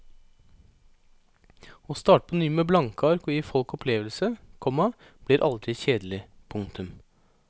Å starte på ny med blanke ark og gi folk opplevelse, komma blir aldri kjedelig. punktum